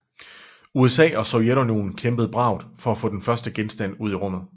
USA og Sovjetunionen kæmpede bravt for at få den første genstand ud i rummet